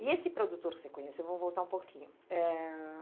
E esse produtor que você conheceu, eu vou voltar um pouquinho. Eh...